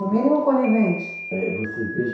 No mínimo conivente. É, você veja